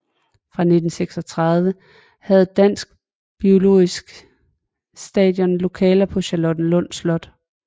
Fra 1936 havde Dansk biologisk Station lokaler på Charlottenlund Slot